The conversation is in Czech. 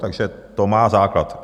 Takže to má základ.